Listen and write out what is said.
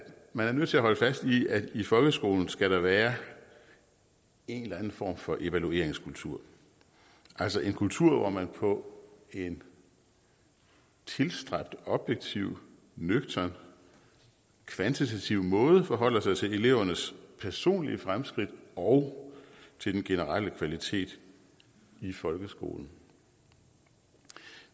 man er nødt til at holde fast i at der i folkeskolen skal være en eller anden form for evalueringskultur altså en kultur hvor man på tilstræbt objektiv nøgtern og kvantitativ måde forholder sig til elevernes personlige fremskridt og til den generelle kvalitet i folkeskolen